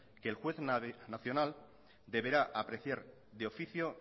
que el juez nacional deberá apreciar de oficio